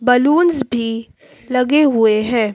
balloons भी लगे हुए हैं--